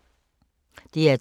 DR2